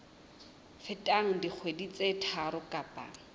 feteng dikgwedi tse tharo kapa